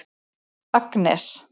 Agnes